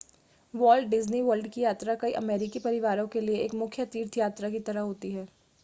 vault Disney World की यात्रा कई अमेरिकी परिवारों के लिए एक मुख्य तीर्थ यात्रा की तरह होती है